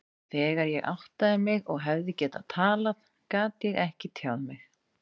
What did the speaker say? Þegar ég áttaði mig og hefði getað talað, gat ég ekki tjáð mig.